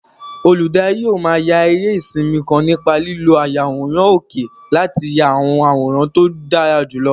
Olùdarí yóò máa ya eré sinimá kan nípa lílo ayàwòrán òkè láti ya àwọn àwòrán tó dára jùlọ.